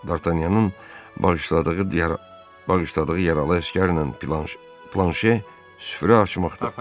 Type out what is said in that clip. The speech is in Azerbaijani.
Dartanyanın bağışladığı, bağışladığı yaralı əsgərlə Planşer süfrə açmaqda idi.